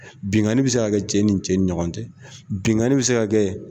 Binganni bi se ka kɛ cɛ ni cɛ ni ɲɔgɔn cɛ binganni bi se ka kɛ